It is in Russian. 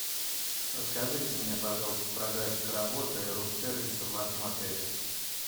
расскажите мне пожалуйста про график работы рум сервиса в вашем отеле